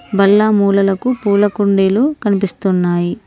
బల్ల మూలలకు పూల కుండీలు కనిపిస్తున్నాయి.